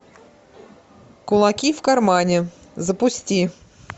кулаки в кармане запусти